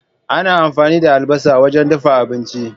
Ana amfani da albasa wajen dafa abinci.